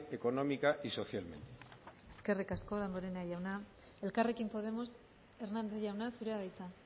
económica y socialmente eskerrik asko damborenea jauna elkarrekin podemos hernández jauna zurea da hitza